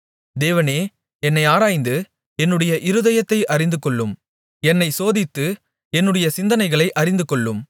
தேவனே என்னை ஆராய்ந்து என்னுடைய இருதயத்தை அறிந்துகொள்ளும் என்னைச் சோதித்து என்னுடைய சிந்தனைகளை அறிந்துகொள்ளும்